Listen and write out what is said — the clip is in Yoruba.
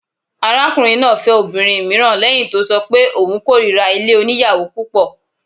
Arákùnrin náà fẹ́ obìnrin mìíràn lẹ́hìn tó ṣọ pé òun kórira ilé oníyàwò púpọ̀.